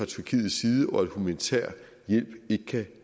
tyrkiets side og at humanitær hjælp ikke kan